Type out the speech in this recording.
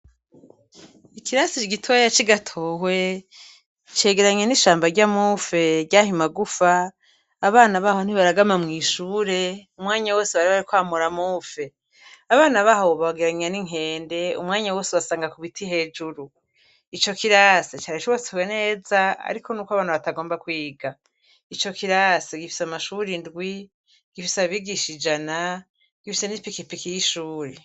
Ikirasi gitoya c'i Gatowe cegeranye n'ishamba ry'amufe ry'ayo magufa, abana baho ntibaragama mw'ishure umwanya wose baba bari kwamura amufe, abana baho wobagereranya n'inkende, umwanya wose ubasanga ku biti hejuru, ico kirasi cari cubatswe neza ariko nuko abana batagomba kwiga, ico kirasi gifise amashuri indwi, gifise abigisha ijana, gifise n'ipikipiki y'ishuri.